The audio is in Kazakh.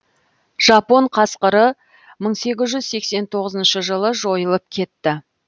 жапон қасқыры мың сегіз жүз сексен тоғызыншы жылы жойылып кетті